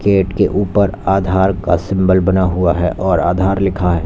Gate के ऊपर आधार का सिंबल बना हुआ है और आधार लिखा है।